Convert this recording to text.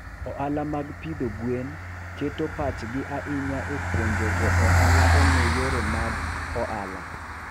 Ohala mag pidho gwen keto pachgi ahinya e puonjo jo ohala ong'e yore mag ohala.